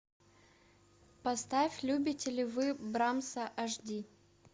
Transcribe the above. поставь любите ли вы брамса аш ди